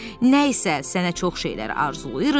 Nəysə, sənə çox şeylər arzulayırıq,